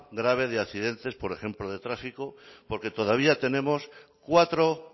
grave de accidentes por ejemplo de tráfico porque todavía tenemos cuatro